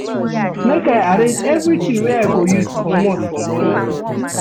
Make I arrange everytin wey I go use comot for morning.